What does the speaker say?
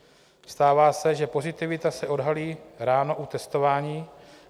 Stává se, že pozitivita se odhalí ráno u testování.